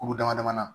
Kuru dama dama na